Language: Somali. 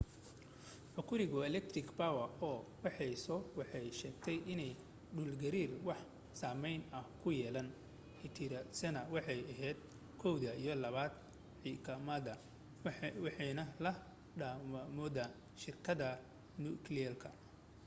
hokuriku electric power co waxay soo waxay sheegtay inaan dhulgariirkii wax saameyn ah ku yeelaan itiradaasna waxay ahayd1 iyo 2 kimikada iwaxaana la damiyayawooda shirkada nukliyeerka